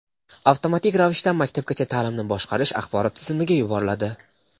avtomatik ravishda Maktabgacha ta’limni boshqarish axborot tizimiga yuboriladi.